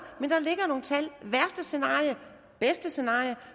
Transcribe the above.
men der ligger nogle tal værste scenarie bedste scenarie